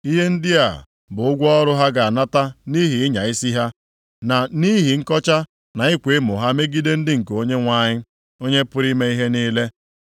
Ihe ndị a bụ ụgwọ ọrụ ha ga-anata nʼihi ịnya isi ha, na nʼihi nkọcha na ịkwa emo ha megide ndị nke Onyenwe anyị, Onye pụrụ ime ihe niile.